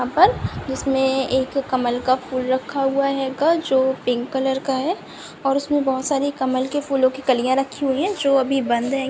यहाँ पर जिसमें एक कमल का फूल रखा हुआ हैगा जो पिंक कलर का है और उसमें बहुत बहुत सारी कमल के फूलों की कालियाँ रखी हुई हैं जो अभी बंद है।